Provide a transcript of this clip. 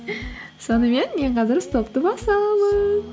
сонымен мен қазір стопты басамын